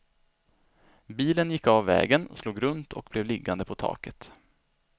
Bilen gick av vägen, slog runt och blev liggande på taket.